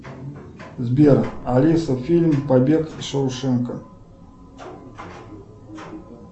сбер алиса фильм побег из шоушенка